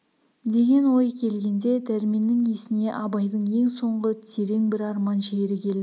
деген ой келгенде дәрменнің есіне абайдың ең соңғы терең бір арман шері келді